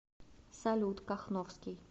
салют кахновский